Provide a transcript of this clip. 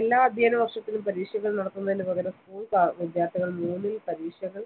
എല്ലാ അധ്യയന വർഷത്തിലും പരീക്ഷകൾ നടത്തുന്നതിനുപകരം school വിദ്യാർത്ഥികൾ മൂന്നിൽ പരീക്ഷകൾ